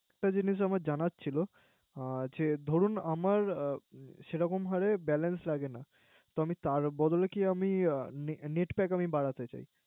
একটা জিনিস জানার ছিলো যে দরুন সেরকমভাবে Balance লাগে না। তার বদলে কি আমি এ Net pack আমি বাড়াতে চাই।